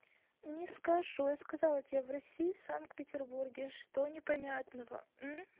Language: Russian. не скажу ей сказала тебе в россии в санкт-петербурге что непонятного